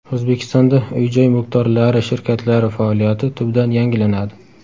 O‘zbekistonda uy-joy mulkdorlari shirkatlari faoliyati tubdan yangilanadi.